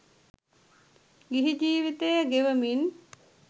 ගිහි ජීවිතය ගෙවමින්